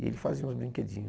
E ele fazia uns brinquedinhos.